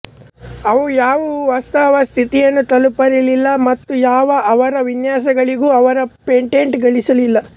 ಅವು ಯಾವವೂ ವಾಸ್ತವ ಸ್ಥಿತಿಯನ್ನು ತಲುಪಲಿಲ್ಲ ಮತ್ತು ಯಾವ ಅವರ ವಿನ್ಯಾಸಗಳಿಗೂ ಅವರು ಪೇಟೆಂಟ್ ಗಳಿಸಲಿಲ್ಲ